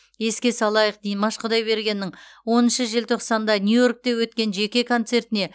еске салайық димаш құдайбергеннің оныншы желтоқсанда нью йоркте өткен жеке концертіне